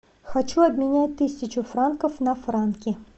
хочу обменять тысячу франков на франки